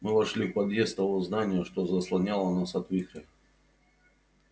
мы вошли в подъезд того здания что заслоняло нас от вихря